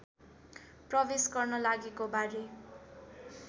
प्रवेश गर्न लागेको बारे